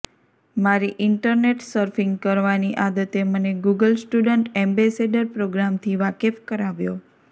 મારી internet surfing કરવાની આદતે મને ગૂગલ સ્ટુડન્ટ એમ્બેસેડર પ્રોગ્રામથી વાકેફ કરાવ્યો